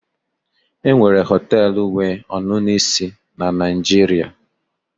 enwere họtelu wee ọṅụṅụ ise na Nigeria